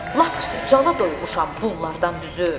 Lap cana doymuşam bunlardan düzü.